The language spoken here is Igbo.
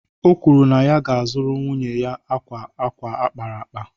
O kwuru na ya ga-azụrụ nwunye ya akwa akwa a kpara akpa